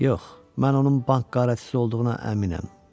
Yox, mən onun bank quldurçusu olduğuna əminəm.